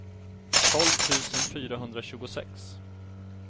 tolv tusen fyrahundratjugosex